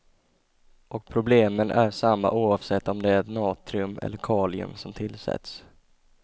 Och problemen är samma oavsett om det är natrium eller kalium som tillsätts.